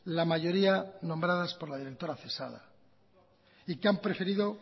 la mayoría nombradas por la directora cesada y que han preferido